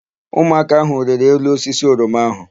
Ụmụaka áhụ̀ rịrị elu osisi oroma áhụ̀.